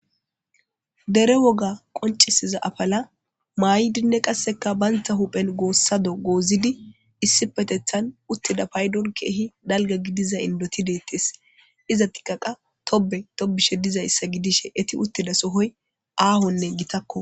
dere woga qoncisiza afala maay7dinne qasseka baynta huphen goossado goozidi issi petethan uttida paydon keehi dalga gidiza indoti deettes iza tikaqa tobe tobishe dizayssa gidishe eti uttida sohoy aahonne gitakko